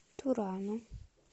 турану